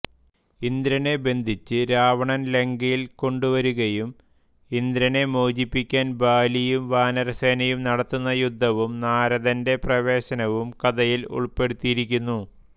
ഇന്ദ്രനെ ബന്ധിച്ച് രാവണൻ ലങ്കയിൽ കൊണ്ടുവരികയും ഇന്ദ്രനെ മോചിപ്പിയ്ക്കാൻ ബാലിയും വാനരസേനയും നടത്തുന്ന യുദ്ധവും നാരദന്റെ പ്രവേശനവും കഥയിൽ ഉൾപ്പെടുത്തിയിരിയ്ക്കുന്നു